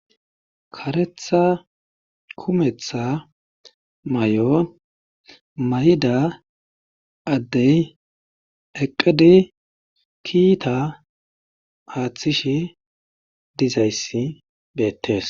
Karetha kumetha mayo mayida addey eqqidi kiitaa aattishe dizayssi beettes.